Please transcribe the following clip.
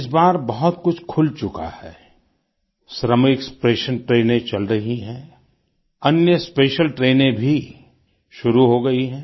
इस बार बहुत कुछ खुल चुका है श्रमिक स्पेशियल ट्रेनें चल रही हैं अन्य स्पेशियल ट्रेनें भी शुरू हो गई हैं